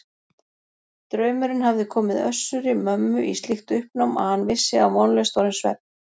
Draumurinn hafði komið Össuri-Mömmu í slíkt uppnám að hann vissi að vonlaust var um svefn.